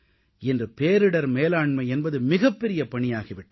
இன்று பேரிடர் மேலாண்மை என்பது மிகப் பெரிய பணியாகி விட்டது